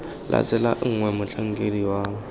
la tsela gongwe motlhankedi wa